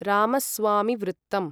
रामस्वामिवृत्तम्